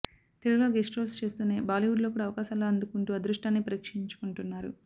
తెలుగులో guest roles చేస్తూనే Bollywood లో కూడా అవకాశాలు అందుకుంటూ అదృష్టాన్ని పరీక్షించుకుంటున్నారు